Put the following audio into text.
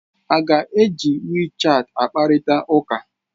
A ga-eji WeChat kparịta ụka?